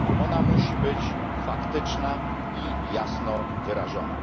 Ona musi być faktyczna i jasno wyrażona.